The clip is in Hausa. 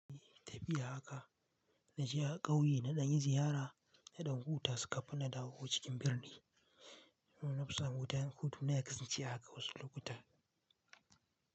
Tafiya haka, naje a ƙauye naɗanyi ziyara naɗan huta kafin na dawo cikin birni. Nuna fusan wuta, danhutu na yakasan ce haka wasu lokuta.